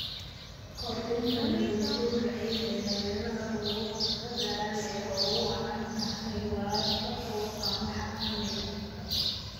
Kordhinta nabaadguurka ciidda ee meelaha roobabku ka da'aan ee ay ugu wacan tahay waraabka oo aan la xakamayn.